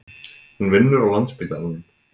Hún vinnur á Landspítalanum.